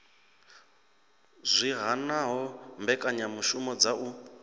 zwi hanaho mbekanyamishumo dza u